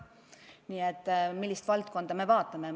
Nii et oleneb, millist valdkonda me vaatame.